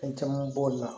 Fɛn caman b'o la